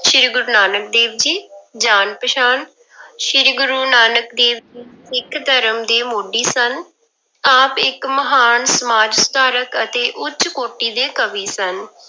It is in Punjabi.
ਸ੍ਰੀ ਗੁਰੂ ਨਾਨਕ ਦੇਵ ਜੀ, ਜਾਣ ਪਛਾਣ ਸ੍ਰੀ ਗੁਰੂ ਨਾਨਕ ਦੇਵ ਜੀ ਸਿੱਖ ਧਰਮ ਦੇ ਮੋਢੀ ਸਨ, ਆਪ ਇੱਕ ਮਹਾਨ ਸਮਾਜ ਸੁਧਾਰਕ ਅਤੇ ਉੱਚ ਕੋਟੀ ਦੇ ਕਵੀ ਸਨ।